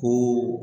Ko